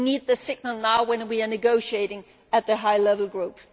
We need the signal now, when we are negotiating in the high level group.